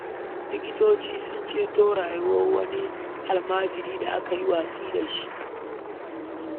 Likitoci sun ceto rayuwar wani almajiri da aka yi watsi da shi.